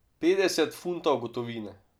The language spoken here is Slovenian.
Petdeset funtov gotovine.